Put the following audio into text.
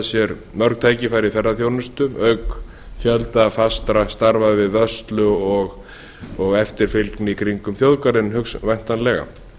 sér mörg tækifæri í ferðaþjónustu auk fjölda fastra starfa við vörslu og eftirfylgni í kringum þjóðgarðinn væntanlega